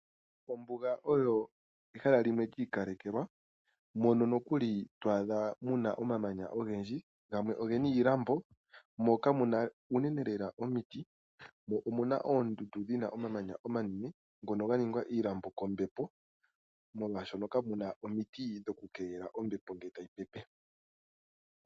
Ombuga oyo ehala limwe ndji ikalelwa mono nokuli twaadha muna oomamanya ogedhi gamwe ogena iilambo moka muna uunene lela omiiti. Omuna oondundu dhina oomamanya omanene ngono ganingwa iilambo kombepo molwashono kamuna omidhi dhoku keelela ombepo ngele tayi pepe.